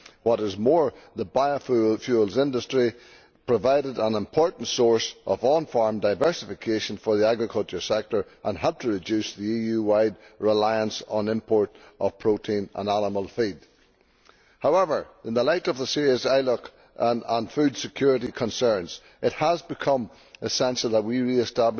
What is more, the biofuels industry provided an important source of on farm diversification for the agriculture sector and helped to reduce the EU wide reliance on the import of protein and animal feed. However, in the light of the serious ILUC and food security concerns, it has become essential that we re